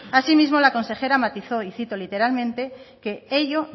asimismo la consejera matizó y cito literalmente que ello